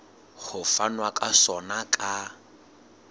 ho fanwa ka sona ka